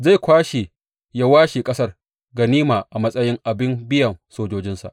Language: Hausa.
Zai kwashe ya washe ƙasar ganima a matsayin abin biyan sojojinsa.